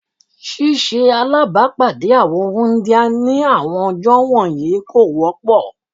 Ṣíṣe alábàpáàdé àwọn wúńdíá ní àwọn ọjọ́ wọ̀nyí kò wọ́pọ̀